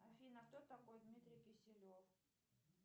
афина кто такой дмитрий киселев